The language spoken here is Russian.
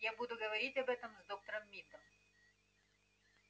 я буду говорить об этом с доктором мидом